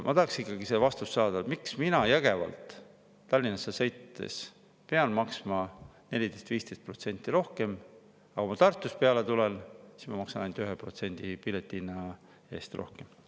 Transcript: Ma tahaksin ikkagi vastust saada, miks ma Jõgevalt Tallinna sõites pean maksma 14–15% rohkem, aga kui ma Tartust peale tulen, siis ma maksan ainult 1% pileti eest rohkem.